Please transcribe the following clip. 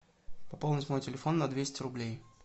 пополнить мой телефон на двести рублей